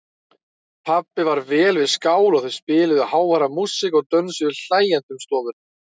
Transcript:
Pabbi var vel við skál og þau spiluðu háværa músík og dönsuðu hlæjandi um stofuna.